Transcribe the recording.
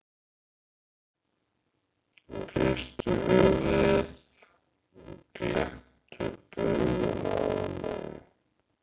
og hristu höfuðið og glenntu upp augun af ánægju.